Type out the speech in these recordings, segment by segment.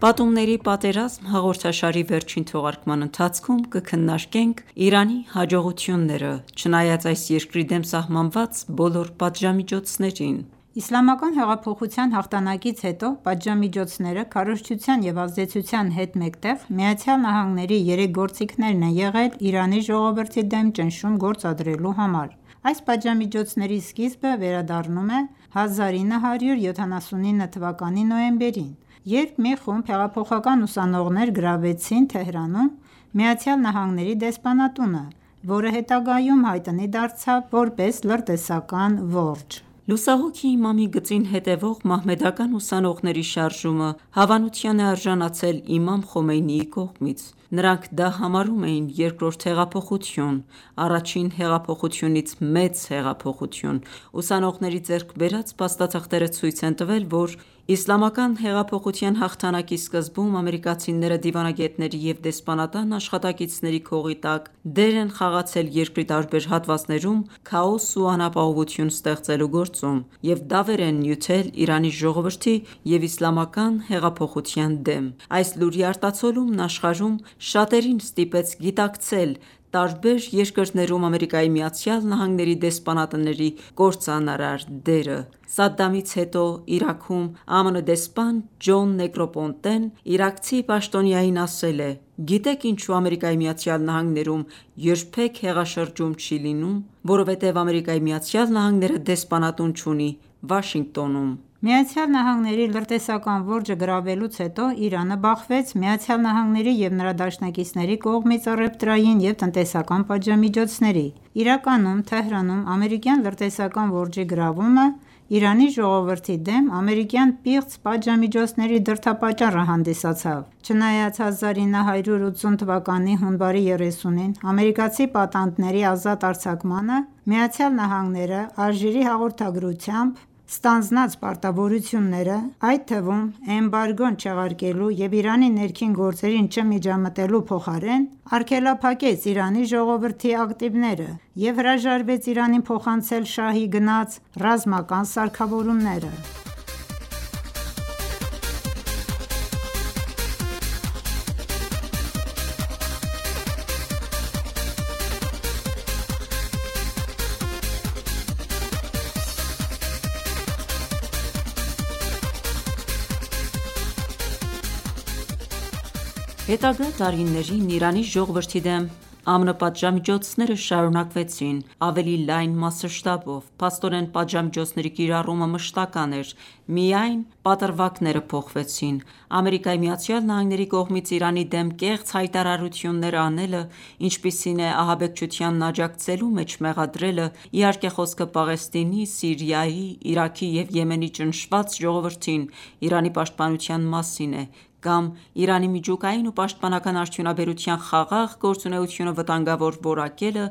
«Պատումների պատերազմ» հաղորդաշարի վերջին թողարկման ընթացքում կքննարկենք Իրանի հաջողությունները՝ չնայած այս երկրի դեմ սահմանված բոլոր պատժամիջոցներին։ Իսլամական հեղափոխության հաղթանակից հետո պատժամիջոցները քարոզչության և ազդեցության հետ մեկտեղ, ԱՄՆ-ի երեք գործիքներն են եղել Իրանի ժողովրդի դեմ ճնշում գործադրելու համար: Այս պատժամիջոցների սկիզբը վերադառնում է 1979 թվականի նոյեմբերին, երբ մի խումբ հեղափոխական ուսանողներ գրավեցին Թեհրանում ԱՄՆ-ի դեսպանատունը, որը հետագայում հայտնի դարձավ որպես լրտեսական որջ։ Լուսահոգի Իմամի գծին հետևող մահմեդական ուսանողների շարժումը հավանության է արժանացել Իմամ Խոմեյնիի կողմից։ Նրանք դա համարում էին երկրորդ հեղափոխություն, առաջին հեղափոխությունից մեծ հեղափոխություն։ Ուսանողների ձեռք բերած փաստաթղթերը ցույց են տվել, որ Իսլամական հեղափոխության հաղթանակի սկզբում ամերիկացիները դիվանագետների և դեսպանատան աշխատակիցների քողի տակ դեր են խաղացել երկրի տարբեր հատվածներում քաոս ու անապահովություն ստեղծելու գործում և դավեր են նյութել Իրանի ժողովրդի և իսլամական հեղափոխության դեմ: Այս լուրի արտացոլումն աշխարհում, շատերին ստիպեց գիտակցել տարբեր երկրներում ԱՄՆ-ի դեսպանատների կործանարար դերը։ Սադդամից հետո Իրաքում ԱՄՆ դեսպան Ջոն Նեգրոպոնտեն իրաքցի պաշտոնյային ասել է.«Գիտե՞ք ինչու ԱՄՆ-ում երբեք հեղաշրջում չի լինում։ Որովհետև ԱՄՆ-ն դեսպանատուն չունի Վաշինգտոնում»: ԱՄՆ-ի լրտեսական որջը գրավելուց հետո, Իրանը բախվեց ԱՄՆ-ի և նրա դաշնակիցների կողմից առևտրային և տնտեսական պատժամիջոցների: Իրականում, Թեհրանում ամերիկյան լրտեսական որջի գրավումը Իրանի ժողովրդի դեմ ամերիկյան պիղծ պատժամիջոցների դրդապատճառը հանդիսացավ։ Չնայած 1980 թվականի հունվարի 30-ին ամերիկացի պատանդների ազատ արձակմանը, Միացյալ Նահանգները, Ալժիրի հաղորդագրությամբ ստանձնած պարտավորությունները, այդ թվում էմբարգոն չեղարկելու և Իրանի ներքին գործերին չմիջամտելու փոխարեն, արգելափակեց Իրանի ժողովրդի ակտիվները և հրաժարվեց Իրանին փոխանցել շահի գնած ռազմական սարքավորումները: Հետագա տարիներին Իրանի ժողովրդի դեմ ԱՄՆ պատժամիջոցները շարունակվեցին ավելի լայն մասշտաբով։ Փաստորեն, պատժամիջոցների կիրառումը մշտական էր, միայն պատրվակները փոխվեցին։ ԱՄՆ-ի կողմից Իրանի դեմ կեղծ հայտարարություններ անելը, ինչպիսին է ահաբեկչությանն աջակցելու մեջ մեղադրելը, իհարկե խոսքը Պաղեստինի, Սիրիայի, Իրաքի և Եմենի ճնշված ժողովրդին Իրանի պաշտպանության մասին է, կամ Իրանի միջուկային ու պաշտպանական արդյունաբերության խաղաղ գործունեությունը վտանգավոր որակելը,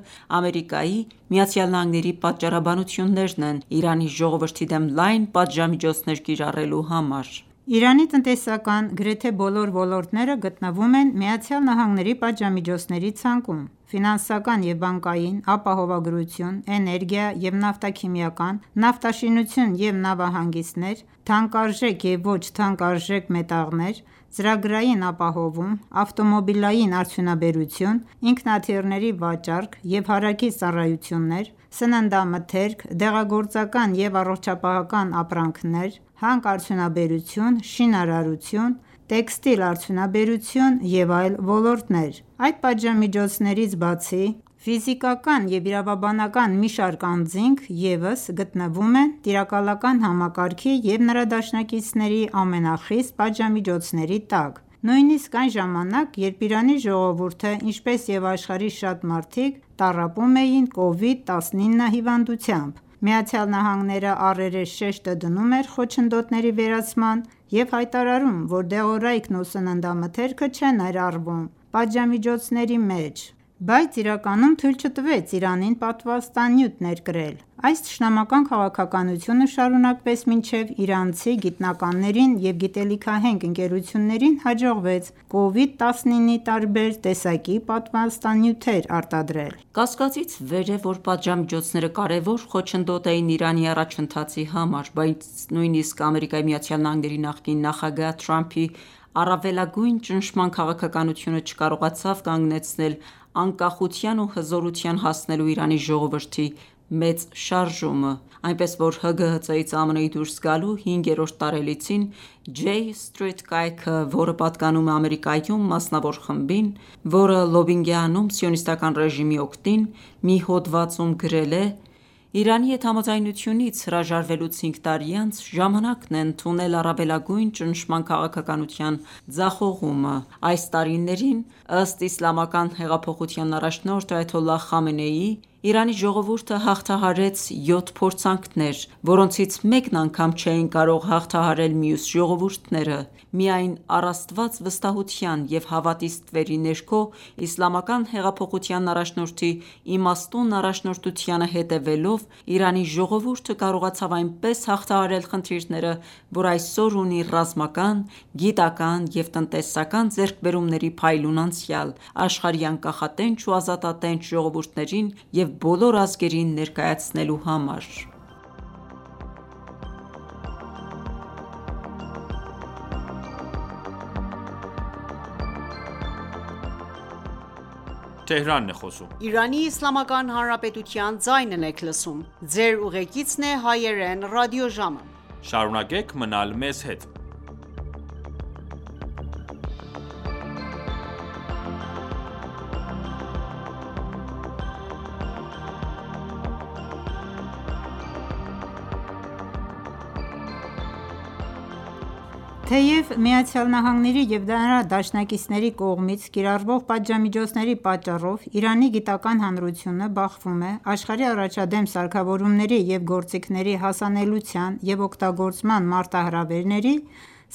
ԱՄՆ-ի պատճառաբանություններն են Իրանի ժողովրդի դեմ լայն պատժամիջոցներ կիրառելու համար: Իրանի տնտեսական գրեթե բոլոր ոլորտները գտնվում են ԱՄՆ-ի պատժամիջոցների ցանկում։ Ֆինանսական և բանկային, ապահովագրություն, էներգիա և նավթաքիմիական, նավաշինություն և նավահանգիստներ, թանկարժեք և ոչ թանկարժեք մետաղներ, ծրագրային ապահովում, ավտոմոբիլային արդյունաբերություն, ինքնաթիռների վաճառք և հարակից ծառայություններ, սննդամթերք, դեղագործական և առողջապահական ապրանքներ, հանքարդյունաբերություն, շինարարություն, տեքստիլ արդյունաբերություն և այլ ոլորտներ: Այդ պատժամիջոցներից բացի, ֆիզիկական և իրավաբանական մի շարք անձինք ևս գտնվում են տիրակալական համակարգի և նրա դաշնակիցների ամենախիստ պատժամիջոցների տակ: Նույնիսկ այն ժամանակ, երբ Իրանի ժողովուրդը, ինչպես և աշխարհի շատ մարդիկ, տառապում էին Covid-19 հիվանդությամբ, Միացյալ Նահանգները, առերես շեշտը դնում էր խոչընդոտների վերացման և հայտարարում, որ դեղորայքն ու սննդամթերքը չեն ներառվում պատժամիջոցների մեջ, բայց իրականում թույլ չտվեց Իրանին պատվաստանյութ ներկրել: Այս թշնամական քաղաքականությունը շարունակվեց մինչև իրանցի գիտնականներին և գիտելիքահենք ընկերություններին հաջողվեց Covid-19-ի տարբեր տեսակի պատվաստանյութեր արտադրել: Կասկածից վեր է, որ պատժամիջոցները կարևոր խոչընդոտ էին Իրանի առաջընթացի համար, բայց նույնիսկ ԱՄՆ նախկին նախագահ Թրամփի առավելագույն ճնշման քաղաքականությունը չկարողացավ կանգնեցնել անկախության ու հզորության հասնելու Իրանի ժողովրդի մեծ շարժումը։ Այնպես, որ ՀԳՀԾ-ից ԱՄՆ-ի դուրս գալու հինգերորդ տարելիցին «J Street» կայքը, որը պատկանում է Ամերիկայում մասնավոր խմբին, որը լոբբինգ է անում Սիոնիստական ռեժիմի օգտին, մի հոդվածում գրել է.«Իրանի հետ համաձայնությունից հրաժարվելուց հինգ տարի անց, ժամանակն է ընդունել առավելագույն ճնշման քաղաքականության ձախողումը։ Այս տարիներին, ըստ Իսլամական հեղափոխության առաջնորդ Այաթոլլահ Խամենեիի, «Իրանի ժողովուրդը հաղթահարեց յոթ փորձանքներ, որոնցից մեկն անգամ չէին կարող հաղթահարել մյուս ժողովուրդները»: Միայն առ Աստված վստահության և հավատի ստվերի ներքո, Իսլամական հեղափոխության առաջնորդի իմաստուն առաջնորդությանը հետևելով, Իրանի ժողովուրդը կարողացավ այնպես հաղթահարել խնդիրները, որ այսօր ունի ռազմական, գիտական և տնտեսական ձեռքբերումների փայլուն անցյալ աշխարհի անկախատենչ ու ազատատենչ ժողովուրդներին և բոլոր ազգերին ներկայացնելու համար»: Թեև ԱՄՆ-ի և նրա դաշնակիցների կողմից կիրառվող պատժամիջոցների պատճառով Իրանի գիտական հանրությունը բախվում է աշխարհի առաջադեմ սարքավորումների և գործիքների հասանելիության և օգտագործման մարտահրավերների,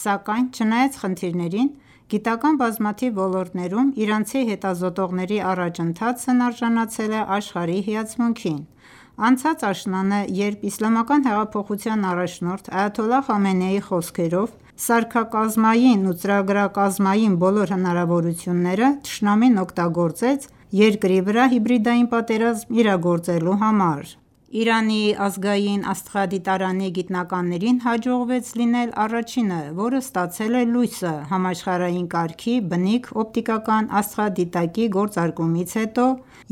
սակայն, չնայած խնդիրներին, գիտական բազմաթիվ ոլորտներում իրանցի հետազոտողների առաջընթացն արժանացել է աշխարհի հիացմունքին: Անցած աշնանը, երբ Իսլամական հեղափոխության առաջնորդ Այաթոլլահ Խամենեիի խոսքով, սարքակազմային ու ծրագրակազմային բոլոր հնարավորությունները թշնամին օգտագործեց երկրի վրա հիբրիդային պատերազմ իրագործելու համար, Իրանի ազգային աստղադիտարանի գիտնականներին հաջողվեց լինել առաջինը, որը ստացել է լույսը համաշխարհային կարգի բնիկ օպտիկական աստղադիտակի գործարկումից հետո՝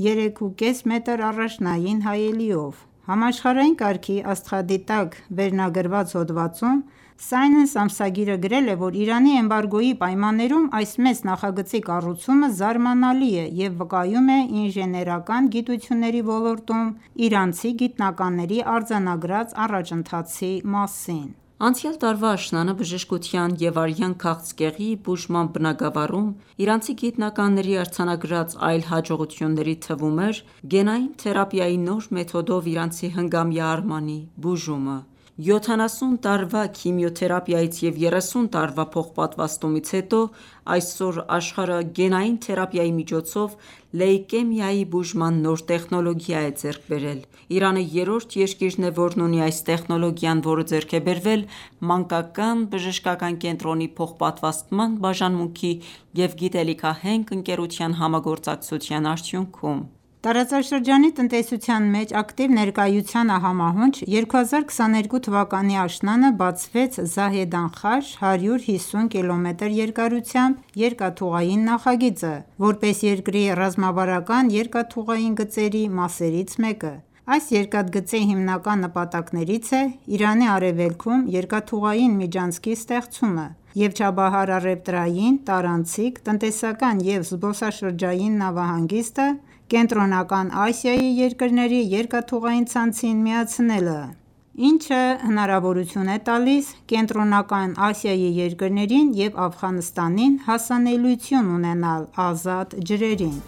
3,4 մետր առաջնային հայելիով: «Համաշխարհային կարգի աստղադիտակ» վերնագրված հոդվածում Science ամսագիրը գրել է, որ Իրանի էմբարգոյի պայմաններում այս մեծ նախագծի կառուցումը զարմանալի է և վկայում է ինժեներական գիտությունների ոլորտում իրանցի գիտնականների արձանագրած առաջընթացի մասին։ Անցյալ տարվա աշնանը բժշկության և արյան քաղցկեղի բուժման բնագավառում իրանցի գիտնականների արձանագրած այլ հաջողությունների թվում էր գենային թերապիայի նոր մեթոդով իրանցի հնգամյա Արմանի բուժումը: 70 տարվա քիմիոթերապիայից և 30 տարվա փոխպատվաստումից հետո այսօր աշխարհը «գենային թերապիայի» միջոցով լեյկեմիայի բուժման նոր տեխնոլոգիա է ձեռք բերել։ Իրանը երրորդ երկիրն է, որն ունի այս տեխնոլոգիան, որը ձեռք է բերվել Մանկական բժշկական կենտրոնի փոխպատվաստման բաժանմունքի և գիտելիքահենք ընկերության համագործակցության արդյունքում։ Տարածաշրջանի տնտեսության մեջ ակտիվ ներկայությանը համահունչ՝ 2022 թվականի աշնանը բացվեց Զահեդան-Խաշ 150 կմ երկարությամբ երկաթուղային նախագիծը՝ որպես երկրի ռազմավարական երկաթուղային գծերի մասերից մեկը։ Այս երկաթգծի հիմնական նպատակներից է Իրանի արևելքում երկաթուղային միջանցքի ստեղծումը և Չաբահարի առևտրային, տարանցիկ, տնտեսական և զբոսաշրջային նավահանգիստը Կենտրոնական Ասիայի երկրների երկաթուղային ցանցին միացնելը, ինչը հնարավորություն է տալիս Կենտրոնական Ասիայի երկրներին և Աֆղանստանին հասանելիություն ունենալ ազատ ջրերին: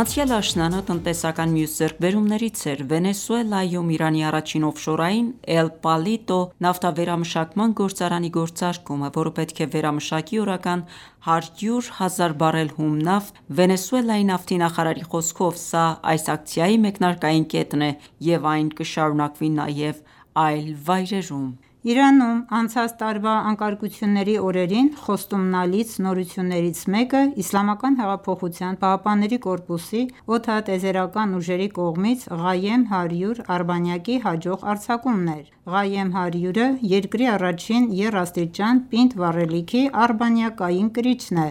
Անցյալ աշնանը տնտեսական մյուս ձեռքբերումներից էր Վենեսուելայում Իրանի առաջին օֆշորային «Էլ Պալիտո» նավթավերամշակման գործարանի գործարկումը, որը պետք է վերամշակի օրական 100 հազար բարել հում նավթ: Վենեսուելայի նավթի նախարարի խոսքով, սա այս ակցիայի մեկնարկային կետն է, և այն կշարունակվի նաև այլ վայրերում: Իրանում անցած տարվա անկարգությունների օրերին խոստումնալից նորություններից մեկը ԻՀՊԿ-ի օդատիեզերական ուժերի կողմից Qaem 100 արբանյակի հաջող արձակումն էր: Ghaem 100-ը երկրի առաջին եռաստիճան պինդ վառելիքի արբանյակային կրիչն է,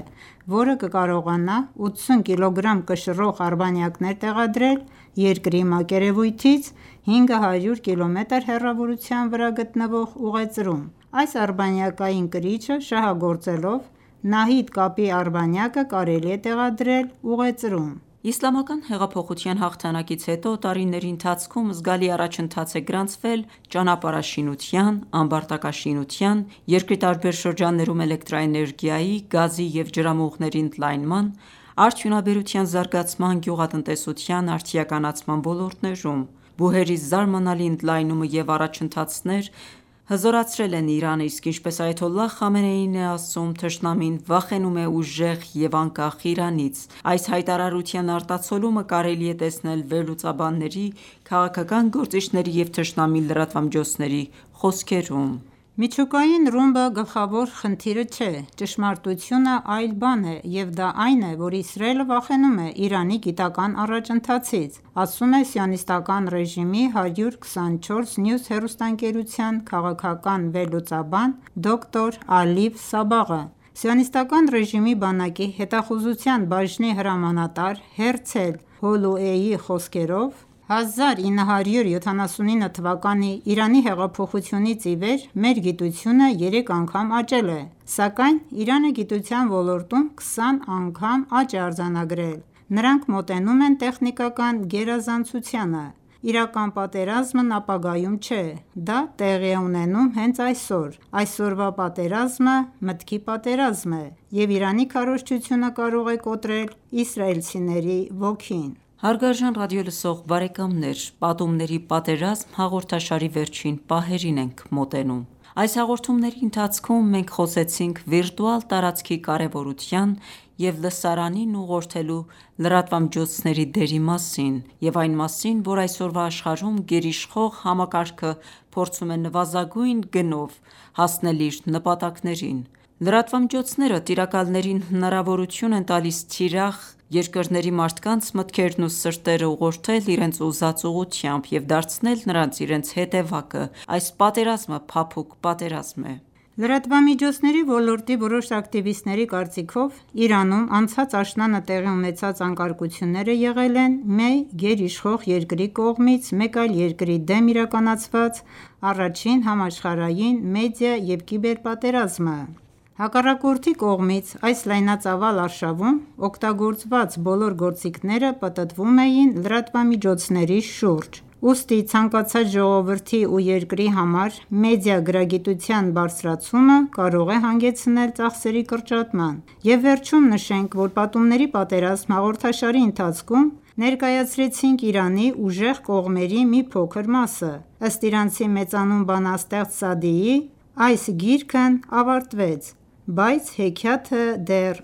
որը կկարողանա 80 կգ կշռող արբանյակներ տեղադրել երկրի մակերևույթից 500 կմ հեռավորության վրա գտնվող ուղեծրում։ Այս արբանյակային կրիչը շահագործելով՝ Նահիդ կապի արբանյակը կարեի է տեղադրել ուղեծրում։ Իսլամական հեղափոխության հաղթանակից հետո, տարիների ընթացքում զգալի առաջընթաց է գրանցվել ճանապարհաշինության, ամբարտակաշինության, երկրի տարբեր շրջաններում էլեկտրաէներգիայի, գազի և ջրամուղների ընդլայնման, արդյունաբերության զարգացման, գյուղատնտեսության արդիականացման ոլորտներում, բուհերի զարմանալի ընդլայնումը և առաջընթացներ, հզորացրել են Իրանը, իսկ ինչպես Այաթոլլահ Խամենեին է ասում, թշնամին վախենում է ուժեղ և անկախ Իրանից: Այս հայտարարության արտացոլումը կարելի է տեսնել վերլուծաբանների, քաղաքական գործիչների և թշնամի լրատվամիջոցների խոսքերում։ «Միջուկային ռումբը գլխավոր խնդիրը չէ, ճշմարտությունն այլ բան է, և դա այն է, որ Իսրայելը վախենում է Իրանի գիտական առաջընթացից», - ասում է Սիոնիստական ռեժիմի I24 News հեռուստաընկերության քաղաքական վերլուծաբան դոկտոր Ալիֆ Սաբաղը: Սիոնիստական ռեժիմի բանակի հետախուզության բաժնի հրամանատար Հերցել Հոլոուեյի խոսքերով. «1979 թվականի Իրանի հեղափոխությունից ի վեր մեր գիտությունը երեք անգամ աճել է, սակայն Իրանը գիտության ոլորտում 20 անգամ աճ է արձանագրել։ Նրանք մոտենում են տեխնիկական գերազանցությանը։ Իրական պատերազմն ապագայում չէ. Դա տեղի է ունենում հենց այսօր։ Այսօրվա պատերազմը մտքի պատերազմ է, և Իրանի քարոզչությունը կարող է կոտրել իսրայելցիների ոգին: Հարգարժան ռադիոլսող բարեկամներ «Պատումների պատերազմ» հաղորդաշարի վերջին պահերին ենք մոտենում: Այս հաղորդումների ընթացքում մենք խոսեցինք վիրտուալ տարածքի կարևորության և լսարանին ուղղորդելու լրատվամիջոցների դերի մասին և այն մասին, որ այսօրվա աշխարհում գերիշխող համակարգը փորձում է նվազագույն գնով հասնել իր նպատակներին: Լրատվամիջոցները տիրակալներին հնարավորություն են տալիս թիրախ երկրների մարդկանց մտքերն ու սրտերը ուղղորդել իրենց ուզած ուղղությամբ և դարձնել նրանց իրենց հետևակը։ Այս պատերազմը փափուկ պատերազմ է: Լրատվամիջոցների ոլորտի որոշ ակտիվիստների կարծիքով, Իրանում անցած աշնանը տեղի ունեցած անկարգությունները եղել են մի գերիշխող երկրի կողմից մեկ այլ երկրի դեմ իրականացված առաջին համաշխարհային մեդիա և կիբեր պատերազմը: Հակառակորդի կողմից այս լայնածավալ արշավում օգտագործված բոլոր գործիքները պտտվում էին լրատվամիջոցների շուրջ: Ուստի ցանկացած ժողովրդի ու երկրի համար մեդիագրագիտության բարձրացումը կարող է հանգեցնել ծախսերի կրճատման։ Եվ վերջում նշենք, որ «Պատումների պատերազմ» հաղորդաշարի ընթացքում ներկայացրեցինք Իրանի ուժեղ կողմերի մի փոքր մասը: Ըստ իրանցի մեծանուն բանաստեղծ Սաադիի՝ «Այս Գիրքն ավարտվեց, բայց հեքիաթը դեռ